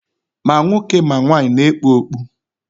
Ma nwoke ma nwanyị na-ekpu okpu.